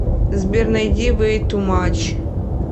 сбер найди вэй ту мач